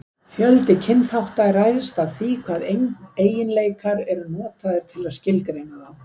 fjöldi kynþátta ræðst af því hvaða eiginleikar eru notaðir til að skilgreina þá